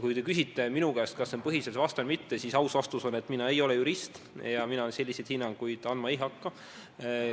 Kui te küsite minu käest, kas see on põhiseadusvastane või mitte, siis aus vastus on, et mina ei ole jurist ja mina selliseid hinnanguid andma ei hakka.